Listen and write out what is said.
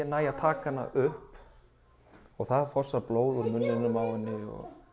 næ að taka hana upp og það fossar blóð úr munninum á henni